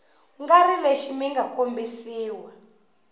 nga ri lexi mga kombisiwa